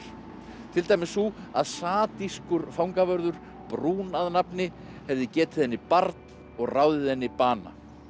til dæmis sú að fangavörður að nafni hefði getið henni barn og ráðið henni bana